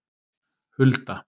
Hulda